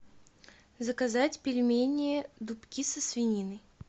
заказать пельмени дубки со свининой